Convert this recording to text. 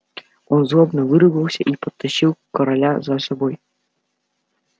он злобно выругался и потащил короля за собой